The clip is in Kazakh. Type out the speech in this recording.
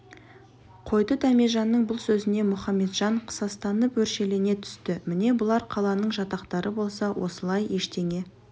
қойды дәмежанның бұл сөзіне мұхаметжан қысастанып өршелене түсті міне бұлар қаланың жатақтары болса осылай ештеңе